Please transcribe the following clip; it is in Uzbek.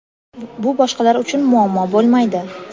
bu boshqalar uchun muammo bo‘lmaydi.